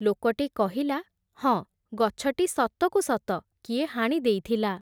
ଲୋକଟି କହିଲା, ହଁ ଗଛଟି ସତକୁ ସତ, କିଏ ହାଣି ଦେଇଥିଲା ।